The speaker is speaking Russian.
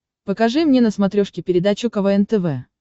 покажи мне на смотрешке передачу квн тв